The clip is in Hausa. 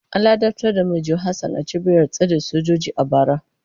An ladabtar da Manjo Hassan a cibiyar tsare sojoji a bara.